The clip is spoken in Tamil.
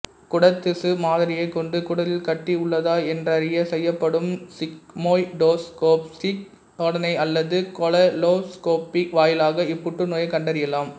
குடற்திசு மாதிரியைக் கொண்டு குடலில் கட்டி உள்ளதா என்றறிய செய்யப்படும் சிக்மோய்டோஸ்கோபிச் சோதனை அல்லது கொலோனோஸ்கோபி வாயிலாக இப்புற்றுநோயைக் கண்டறியாலாம்